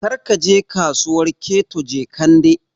Kar ka je Kasuwar Keto Jekande!